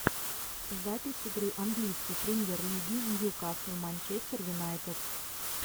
запись игры английской премьер лиги ньюкасл манчестер юнайтед